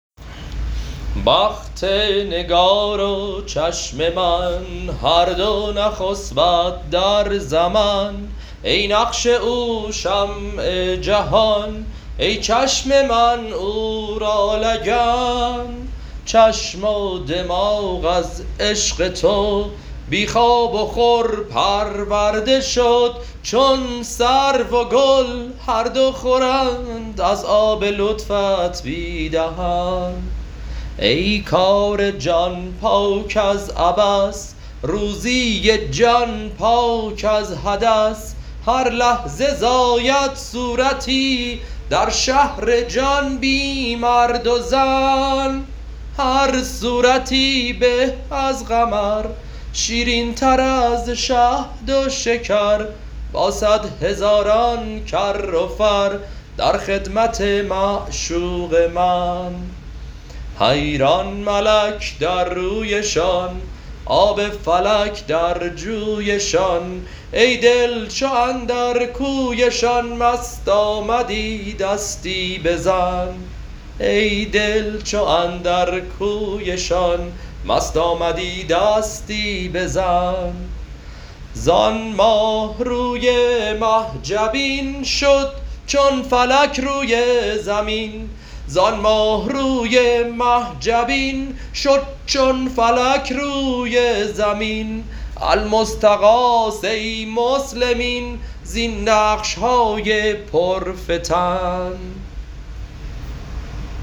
بخت نگار و چشم من هر دو نخسبد در زمن ای نقش او شمع جهان ای چشم من او را لگن چشم و دماغ از عشق تو بی خواب و خور پرورده شد چون سرو و گل هر دو خورند از آب لطفت بی دهن ای کار جان پاک از عبث روزی جان پاک از حدث هر لحظه زاید صورتی در شهر جان بی مرد و زن هر صورتی به از قمر شیرینتر از شهد و شکر با صد هزاران کر و فر در خدمت معشوق من حیران ملک در رویشان آب فلک در جویشان ای دل چو اندر کویشان مست آمدی دستی بزن زان ماه روی مه جبین شد چون فلک روی زمین المستغاث ای مسلمین زین نقش های پرفتن